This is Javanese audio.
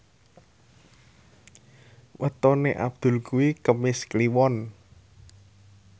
wetone Abdul kuwi Kemis Kliwon